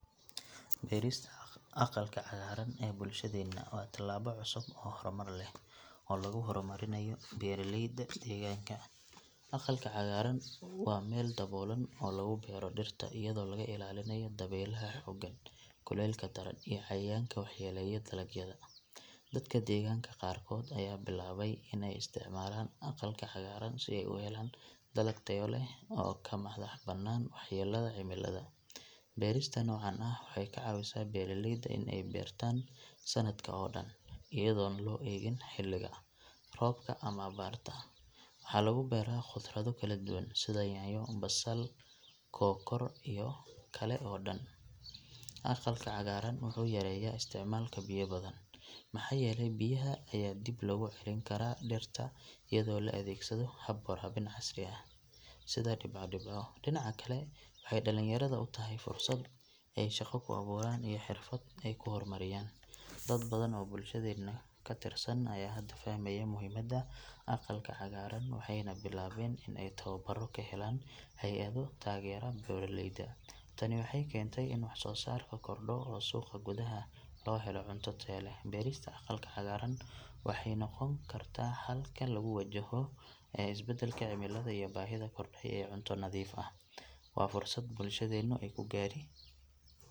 Beerista aqalka cagaaran ee bulshadeenna waa tallaabo cusub oo horumar leh oo lagu horumarinayo beeraleyda deegaanka. Aqalka cagaaran waa meel daboolan oo lagu beero dhirta iyadoo laga ilaalinayo dabaylaha xooggan, kulaylka daran iyo cayayaanka waxyeelaya dalagyada. Dadka deegaanka qaarkood ayaa bilaabay in ay isticmaalaan aqalka cagaaran si ay u helaan dalag tayo leh oo ka madax bannaan waxyeelada cimilada. Beerista noocan ah waxay ka caawisaa beeraleyda in ay beertaan sanadka oo dhan iyadoon loo eegin xilliga roobka ama abaarta. Waxaa lagu beeraa khudrado kala duwan sida yaanyo, basal, kookor iyo kale oo dhan. Aqalka cagaaran wuxuu yareeyaa isticmaalka biyo badan maxaa yeelay biyaha ayaa dib loogu celin karaa dhirta iyadoo la adeegsado hab waraabin casri ah sida dhibco dhibco. Dhinaca kale waxay dhalinyarada u tahay fursad ay shaqo ku abuuraan iyo xirfad ay ku horumariyaan. Dad badan oo bulshadeenna ka tirsan ayaa hadda fahmaya muhiimadda aqalka cagaaran waxayna bilaabeen in ay tababaro ka helaan hay’ado taageera beeraleyda. Tani waxay keentay in wax soo saarka kordho oo suuqa gudaha loo helo cunto tayo leh. Beerista aqalka cagaaran waxay noqon kartaa xalka lagu wajahayo is bedbedelka cimilada iyo baahida korodhay ee cunto nadiif ah. Waa fursad bulshadeennu ay ku gaari.